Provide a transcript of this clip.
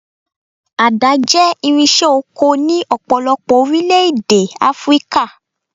Àdá jẹ́ irinṣẹ́ oko ní ọ̀pọ̀lọpọ̀ orílẹ̀-èdè Áfríkà.